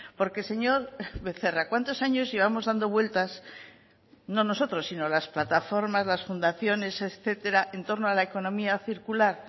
porque señor becerra cuántos años llevamos dando vueltas no nosotros sino las plataformas las fundaciones etcétera en torno a la economía circular